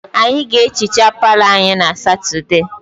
Anyị ga-ehicha palọ anyị na Satọdee